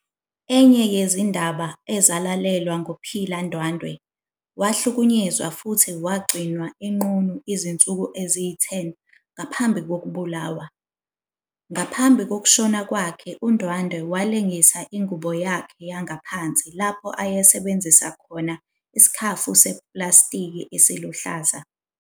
Enye yezindaba ezalalelwa nguPhila Ndwandwe, wahlukunyezwa futhi wagcinwa enqunu izinsuku eziyi-10 ngaphambi kokubulawa. Ngaphambi kokushona kwakhe, uNdwandwe walingisa ingubo yakhe yangaphansi lapho ayesebenzisa khona isikhafu sepulasitiki esiluhlaza.